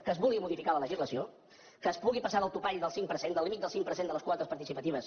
que es vulgui modificar la legislació que es pugui passar del topall del cinc per cent del límit del cinc per cent de les quotes participatives